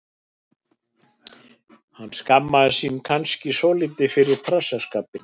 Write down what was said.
Hann skammast sín kannski svolítið fyrir trassaskapinn.